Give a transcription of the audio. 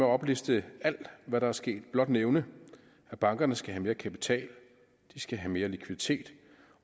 opliste alt hvad der er sket blot nævne at bankerne skal have mere kapital at de skal have mere likviditet